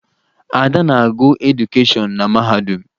Ada na-agụ edukeshọn na mahadum